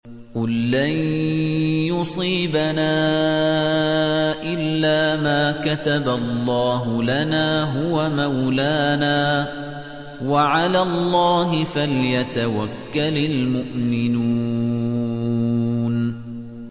قُل لَّن يُصِيبَنَا إِلَّا مَا كَتَبَ اللَّهُ لَنَا هُوَ مَوْلَانَا ۚ وَعَلَى اللَّهِ فَلْيَتَوَكَّلِ الْمُؤْمِنُونَ